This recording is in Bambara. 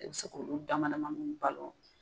I bɛ se k'olu dama damaniw balo